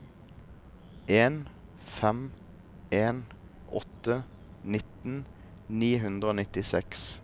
en fem en åtte nitten ni hundre og nittiseks